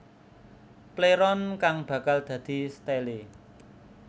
Pléron kang bakal dadi stélé